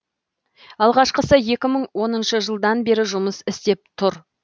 алғашқысы екі мың оныншы жылдан бері жұмыс істеп тұр